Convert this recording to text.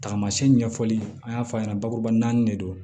Tagamasɛn ɲɛfɔli an y'a fɔ a ɲɛna bakuruba naani de don